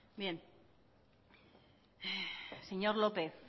bien señor lópez